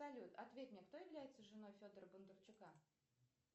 салют ответь мне кто является женой федора бондарчука